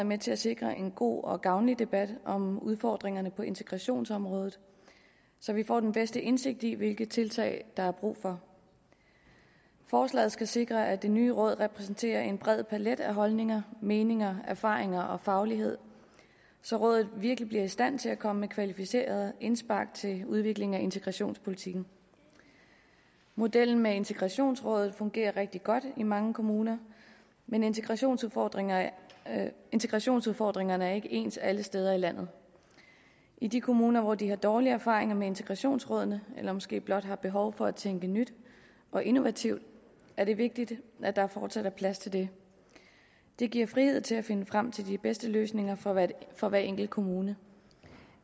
med til at sikre en god og gavnlig debat om udfordringerne på integrationsområdet så vi får den bedste indsigt i hvilke tiltag der er brug for forslaget skal sikre at det nye råd repræsenterer en bred palet af holdninger meninger erfaringer og faglighed så rådet virkelig bliver i stand til at komme kvalificeret indspark til udvikling af integrationspolitikken modellen med integrationsråd fungerer rigtig godt i mange kommuner men integrationsudfordringerne integrationsudfordringerne er ikke ens alle steder i landet i de kommuner hvor de har dårlige erfaringer med integrationsrådene eller måske blot har behov for at tænke nyt og innovativt er det vigtigt at der fortsat er plads til det det giver frihed til at finde frem til de bedste løsninger for hver for hver enkelt kommune